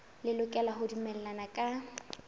le lokela ho dumellana ka